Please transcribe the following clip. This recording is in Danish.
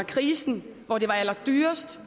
krisen hvor det var allerdyrest